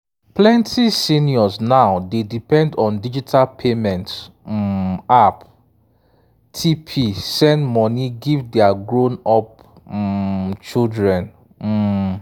plenty seniors now dey depend on digital payment um app tp send money give their grown-up um children um